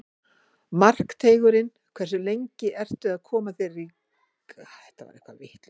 Markteigurinn Hversu lengi ertu að koma þér í gang á morgnanna?